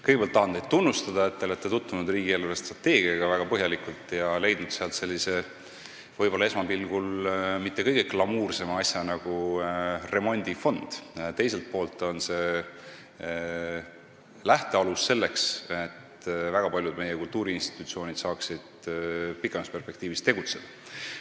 Kõigepealt tahan teid tunnustada, et te olete tutvunud riigi eelarvestrateegiaga väga põhjalikult ja leidnud sealt sellise esmapilgul võib-olla mitte kõige glamuursema asja nagu remondifond, mis teiselt poolt on lähtealus selleks, et väga paljud meie kultuuriinstitutsioonid saaksid pikemas perspektiivis tegutseda.